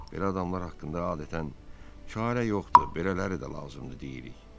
Belə insanlar haqqında adətən çarə yoxdur, belələri də lazımdır deyirik.